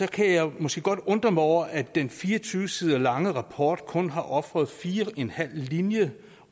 kan jeg måske godt undre mig over at den fire og tyve sider lange rapport kun har ofret fire og en halv linje